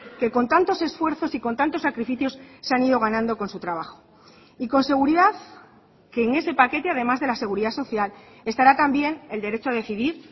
que con tantos esfuerzos y con tantos sacrificios se han ido ganando con su trabajo y con seguridad que en ese paquete además de la seguridad social estará también el derecho a decidir